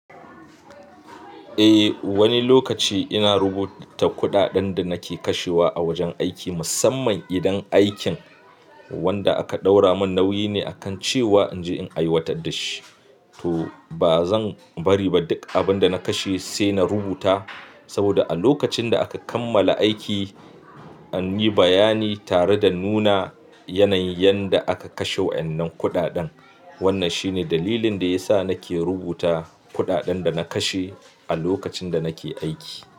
Eh, wani lokaci ina rubuta kuɗaɗen da nake kashewa a wajen aiki, musamman idan aikin wanda aka ɗaura mun nauyi ne akan cewa in je in aiwatar da shi. To ba zan bari ba duk abin da na kashe sai na rubuta saboda a lokacin da aka kammala aiki an yi bayani tare da nuna yanayin yadda aka kashe wannan kuɗaɗen. Wannan shine dalilin da ya sa nake rubuta kuɗaɗen da na kashe a lokacin da nake aiki.